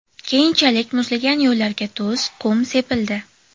Keyinchalik muzlagan yo‘llarga tuz, qum sepildi.